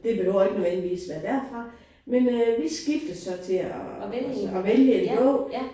Det behøver ikke nødvendigvis være derfra men øh vi vi skiftes så til at og så at vælge en bog